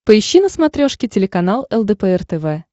поищи на смотрешке телеканал лдпр тв